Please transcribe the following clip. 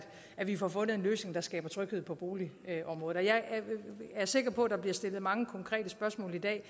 at vi får fundet en løsning der skaber tryghed på boligområdet jeg er sikker på at der bliver stillet mange konkrete spørgsmål i dag